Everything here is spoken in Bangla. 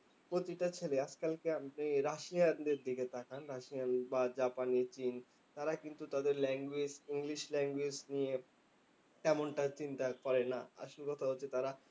প্রতিটা ছেলে, আজকালকে আপনি রাশিয়ানদের দিকে তাকান। রাশিয়ান বা জাপানি, চীন তারা কিন্তু তাদের language english language নিয়ে তেমনটা চিন্তা করে না। আসল কথা হচ্ছে তারা